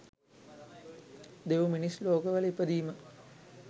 දෙවි, මිනිස් ලෝකවල ඉපදීම